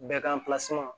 Bɛɛ kan